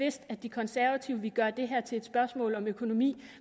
vidst at de konservative ville gøre det her til et spørgsmål om økonomi